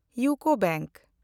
UCO bank